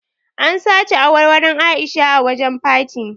An sace awarwaron A'isha a wajen party.